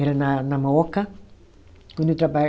Era na na Mooca. Quando eu traba